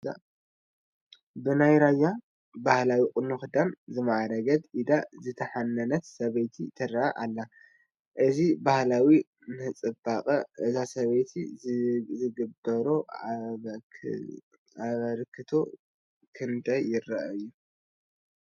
ብናይ ራያ ባህሊ ቁኖን ክዳንን ዝማዕረገት፣ ኢዳ ዝተሓነነት ሰበይቲ ትርአ ኣላ፡፡ እዚ ባህሊ ንፅባቐ እዛ ሰበይቲ ዝገበሮ ኣበርክቶ ክንደይ ዝኣክል እዩ?